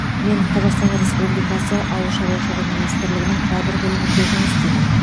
мен қазақстан республикасы ауыл шаруашылығы министрлігінің кадр бөлімінде жұмыс істеймін